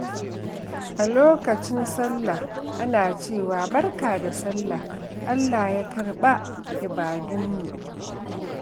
A lokacin Sallah, ana cewa, "Barka da Sallah, Allah ya karɓa ibadunmu."